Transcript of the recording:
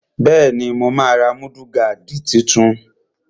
Bẹ́ẹ̀ni, mo máa ra múdúgáàdì tuntun